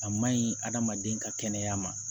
A maɲi adamaden ka kɛnɛya ma